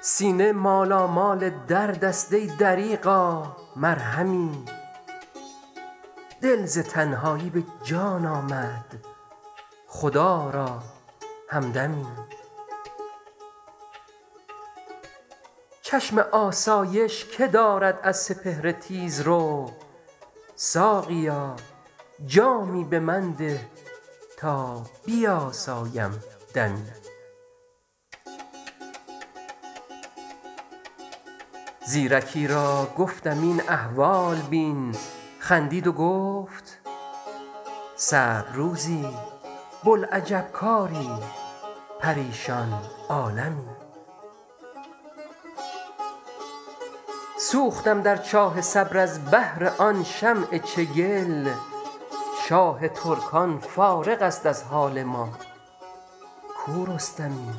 سینه مالامال درد است ای دریغا مرهمی دل ز تنهایی به جان آمد خدا را همدمی چشم آسایش که دارد از سپهر تیزرو ساقیا جامی به من ده تا بیاسایم دمی زیرکی را گفتم این احوال بین خندید و گفت صعب روزی بوالعجب کاری پریشان عالمی سوختم در چاه صبر از بهر آن شمع چگل شاه ترکان فارغ است از حال ما کو رستمی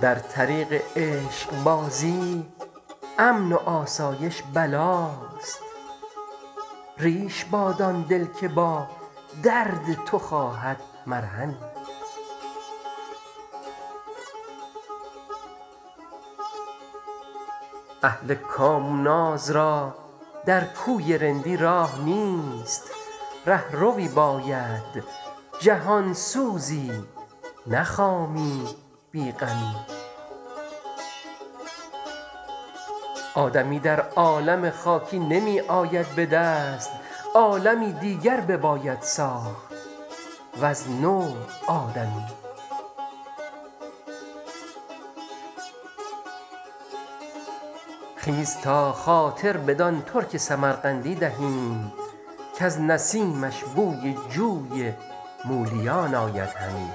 در طریق عشق بازی امن و آسایش بلاست ریش باد آن دل که با درد تو خواهد مرهمی اهل کام و ناز را در کوی رندی راه نیست رهروی باید جهان سوزی نه خامی بی غمی آدمی در عالم خاکی نمی آید به دست عالمی دیگر بباید ساخت وز نو آدمی خیز تا خاطر بدان ترک سمرقندی دهیم کز نسیمش بوی جوی مولیان آید همی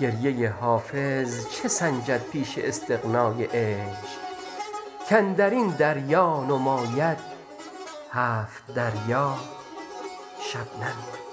گریه حافظ چه سنجد پیش استغنای عشق کاندر این دریا نماید هفت دریا شبنمی